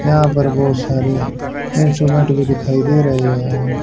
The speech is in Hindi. यहां पर बहुत सारे इंस्ट्रूमेंट भी दिखाई दे रहे हैं।